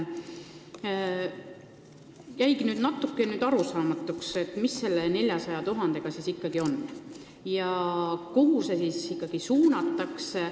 Jäigi natukene arusaamatuks, mis selle 400 000-ga siis ikkagi on ja kuhu see suunatakse.